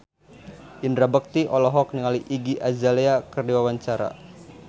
Indra Bekti olohok ningali Iggy Azalea keur diwawancara